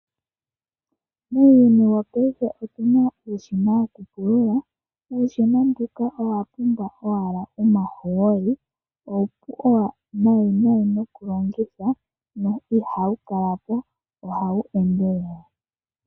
Muuyuni wo paife omuna uushina wo kupulula, uushina mbuka owapumbwa owala omahooli uupu nayi nayi nokulongitha na ihawu kalapo ohawu endelele.